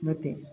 N'o tɛ